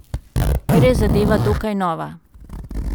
Ker je zadeva dokaj nova.